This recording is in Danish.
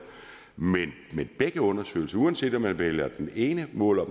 men begge undersøgelser viser uanset om man vælger det ene og måler